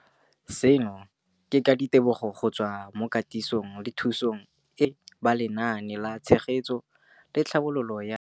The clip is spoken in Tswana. Seno ke ka ditebogo go tswa mo katisong le thu song eo a e neilweng ke ba Lenaane la Tshegetso le Tlhabololo ya.